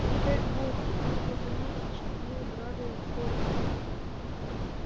не дай бог она заметит что мы брали фордик